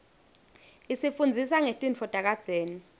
isifundzisa ngetintfo takadzeni